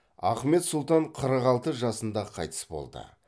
ахмет сұлтан қырық алты жасында қайтыс болды